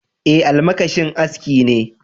Ae, almakashin aski ne.